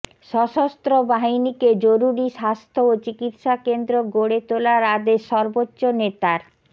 সশস্ত্র বাহিনীকে জরুরি স্বাস্থ্য ও চিকিৎসা কেন্দ্র গড়ে তোলার আদেশ সর্বোচ্চ নেতার